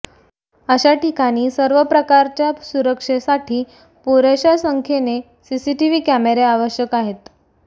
अशा ठिकाणी सर्व प्रकारच्या सुरक्षेसाठी पुरेशा संख्येने सीसीटीव्ही कॅमेरे आवश्यक आहेत